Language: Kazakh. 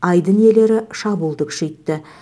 айдын иелері шабуылды күшейтті